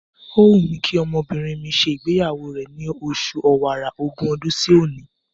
Ó wù mí kí ọmọbìnrin mi ṣe ìgbéyàwó rẹ̀ ni oṣù Ọ̀wàrà, ogún ọdún sí òní.